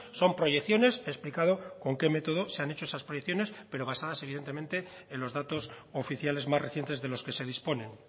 son proyecciones explicado con qué método se han hecho esas proyecciones pero basadas evidentemente en los datos oficiales más recientes de los que se disponen